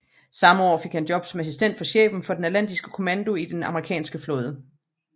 Samme år fik han job som assistent for chefen for den atlantiske kommando i den den amerikanske flåde